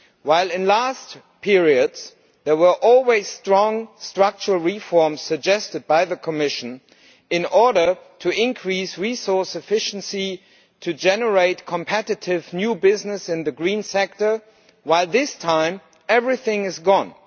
While in previous periods there were always strong structural reforms suggested by the Commission in order to increase resource efficiency, to generate competitive new business in the green sector, this time everything is gone.